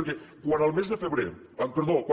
perquè quan